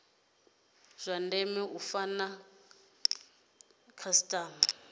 zwa ndeme u fara khasitama